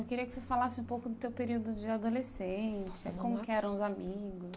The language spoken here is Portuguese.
Eu queria que você falasse um pouco do teu período de adolescência, como que eram os amigos.